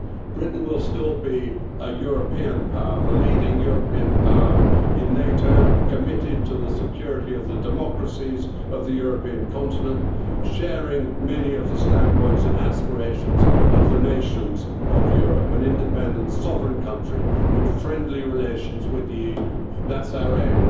year. Britain will still be a European power the leading European power in NATO, committed to the security of the democracies of the European continent, sharing many of the standpoints and aspirations of the nations of Europe, an independent sovereign country with friendly relations with the EU that's our